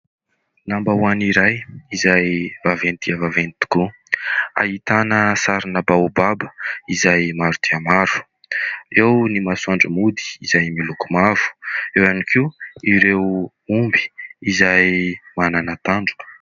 Lambaonay iray izay vaventy dia vaventy tokoa ahitana sarina baobaba izay maro dia maro, eo ny masoandro mody izay miloko mavo, eo ihany koa ireo omby izay manana tandroka.